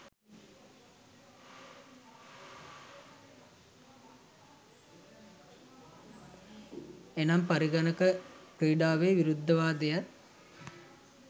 එනම් පරිගණක ක්‍රිඩාවෙ විරුද්ධවාදියා